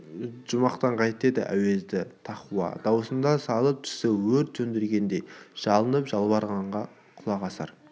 жұмақтан қайт деді әуезді тақуа дауысына салып түсі өрт сөндіргендей жалынып-жалбарынғанға құлақ асар